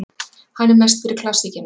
Hann er mest fyrir klassíkina.